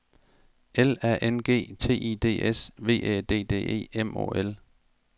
L A N G T I D S V Æ D D E M Å L